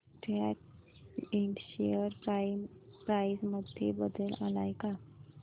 सॅट इंड share price मध्ये बदल आलाय का